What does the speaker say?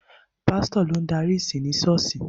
Pásítọ̀ ló ń darí ìsìn ni ṣọ́ọ̀ṣì.